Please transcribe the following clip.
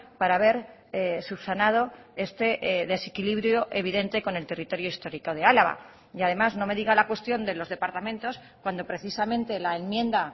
para haber subsanado este desequilibrio evidente con el territorio histórico de álava y además no me diga la cuestión de los departamentos cuando precisamente la enmienda